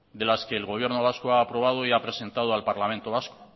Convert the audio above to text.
de las que el gobierno vasco ha aprobado y ha presentado al parlamento vasco